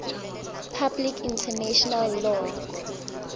public international law